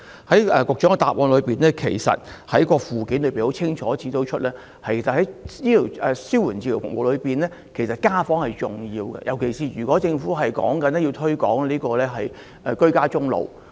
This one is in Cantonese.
其實局長主體答覆的附件已清楚指出，在紓緩治療服務當中，家訪是十分重要的，尤其是政府若要鼓勵和推廣居家終老的話。